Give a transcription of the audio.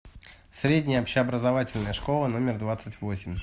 средняя общеобразовательная школа номер двадцать восемь